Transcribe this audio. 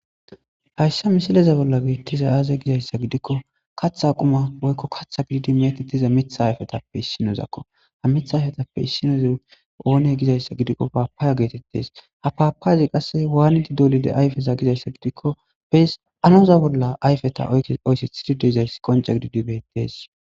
hayssa misileza bolla geetettiza aaze gizayssa gidikko katha quma woykko katha gididi meetettiza mitha ayfetappe issinozakko ha mith ayfetappe issinoza oone gizayssa gidikko paapaaya geetettes ha paapaayzi qasse waaniti dolide ayfeza gizayssa gidikko bes anoza bolla ayfeta oysethididezays qonca gididi bettees